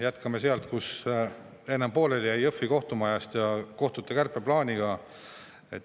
Jätkame sealt, kus enne pooleli jäi, Jõhvi kohtumaja ja kohtute kärpeplaaniga.